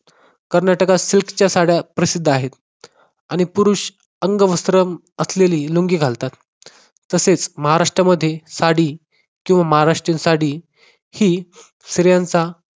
कर्नाटकात silk च्या साड्या प्रसिद्ध आहेत. आणि पुरुष अंगवस्त्र असलेली लुंगी घालतात. तसेच महाराष्ट्रामध्ये साडी किंवा महाराष्ट्रीयन साडी ही स्त्रियांचा